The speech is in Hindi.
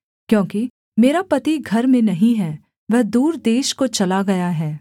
क्योंकि मेरा पति घर में नहीं है वह दूर देश को चला गया है